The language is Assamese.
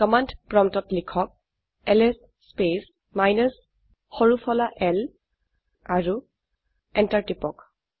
কমান্ড প্ৰম্পটত লিখক এলএছ স্পেচ মাইনাছ সৰু ফলা l আৰু এন্টাৰ টিপক